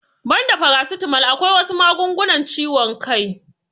Banda farasitamal akwai wasu magungunan ciwon kai